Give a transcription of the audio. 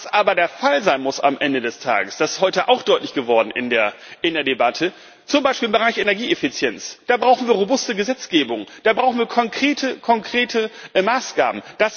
Was aber der Fall sein muss am Ende des Tages das ist heute auch deutlich geworden in der Debatte Zum Beispiel im Bereich Energieeffizienz brauchen wir robuste Gesetzgebung, da brauchen wir konkrete Maßgaben.